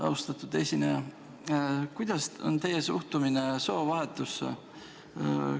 Mul on selline küsimus: kuidas te suhtute soovahetusse?